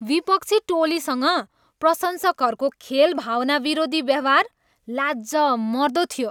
विपक्षी टोलीसँग प्रशंसकहरूको खेलभावना विरोधी व्यवहार लाजमर्दो थियो।